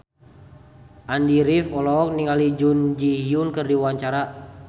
Andy rif olohok ningali Jun Ji Hyun keur diwawancara